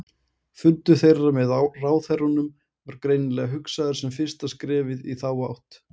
Fundur þeirra með ráðherrunum var greinilega hugsaður sem fyrsta skrefið í þá átt.